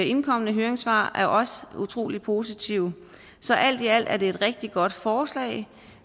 indkomne høringssvar er også utrolig positive så alt i alt er det et rigtig godt forslag